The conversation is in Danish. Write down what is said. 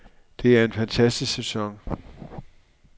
Det er en fantastisk sæson.